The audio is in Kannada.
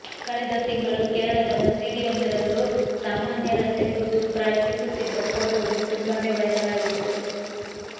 ಕಳೆದ ತಿಂಗಳು ಕೇರಳದ ಮಸೀದಿಯೊಂದರಲ್ಲೂ ಸಾಮಾನ್ಯರಂತೆ ಕೂತು ಪ್ರಾರ್ಥಿಸುತ್ತಿದ್ದ ಫೋಟೋವು ತುಂಬಾನೇ ವೈರಲ್ ಆಗಿತ್ತು